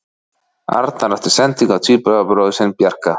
Arnar átti sendingu á tvíburabróðir sinn Bjarka.